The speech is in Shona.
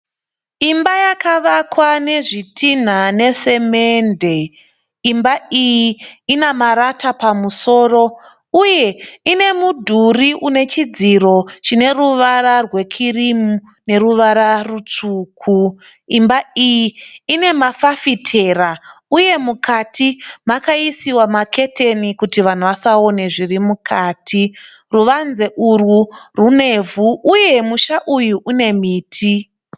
Imba yakavakwa nezvitinha nesamende, imba iyi ine marata pamusoro uye ine mudhuri une chidziro chine ruvara rwekirimu neruvara rutsvuku. Imba iyi ine mafafitera uye mukati makaiswa maketeni kuti vanhu vasaone zviri mukati, uye ruvanze urwu rune ivhu, uye musha uyu une miti.